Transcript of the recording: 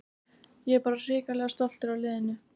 Ég er bara hrikalega stoltur af liðinu.